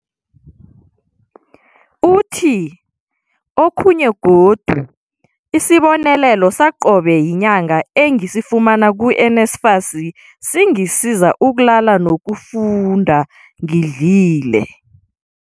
Uthi, Okhunye godu, isibonelelo saqobe yinyanga engisifumana ku-NSFAS singisiza ukulala noku funda ngidlile.